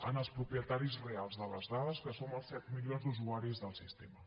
en els propietaris reals de les dades que som els set milions d’usuaris del sistema